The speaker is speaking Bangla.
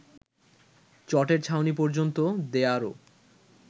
চটের ছাউনি পর্যন্ত দেয়ারও